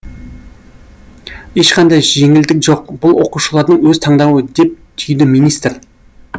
ешқандай жеңілдік жоқ бұл оқушылардың өз таңдауы деп түйді министр